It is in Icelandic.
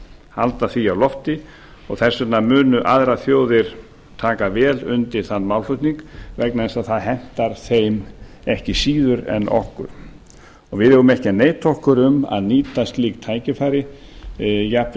halda því á lofti og þess vegna munu aðrar þjóðir taka vel undir þann málflutning vegna þess að það hentar þeim ekki síður en okkur við eigum ekki að neita okkur um að nýta slík tækifæri jafnvel